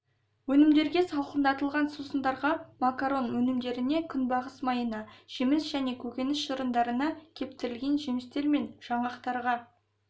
өнімдерге салқындатылған сусындарға макарон өнімдеріне күнбағыс майына жеміс және көкөніс шырындарына кептірілген жемістер мен жаңғақтарға